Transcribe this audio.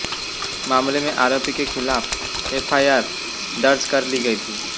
मामले में आरोपी के खिलाफ एफआईआर दर्ज कर ली गई थी